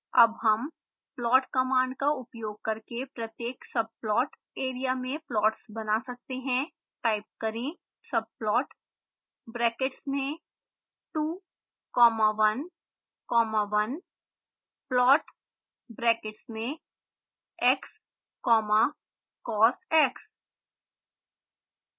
अब हम plot command का उपयोग करके प्रत्येक subplot area में प्लॉट्स बना सकते हैं टाइप करें